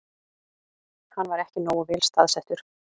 Hann var ekki nógu vel staðsettur